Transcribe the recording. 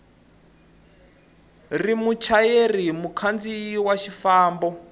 ri muchayeri mukhandziyi wa xifambo